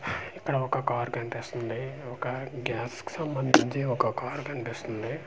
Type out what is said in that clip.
ఇక్కడ ఒక కవర్ కనిపిస్తుంది ఒక గ్యాస్ కి సంబంధించి ఒక కవర్ కనిపిస్తుంది.